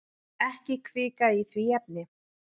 Ekki hvika í því efni.